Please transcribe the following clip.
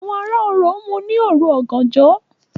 Àwọn ará Orò mú ní òru ọ̀gànjọ́